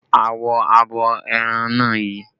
Awọ abo ẹran náà yi